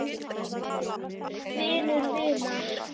Vinur vinar?